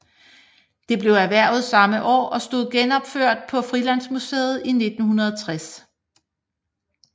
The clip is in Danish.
Det blev erhvervet samme år og stod genopført på Frilandsmuseet i 1960